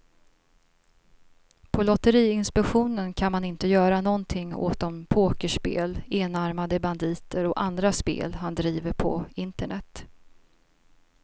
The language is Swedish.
På lotteriinspektionen kan man inte göra någonting åt de pokerspel, enarmade banditer och andra spel han driver på internet.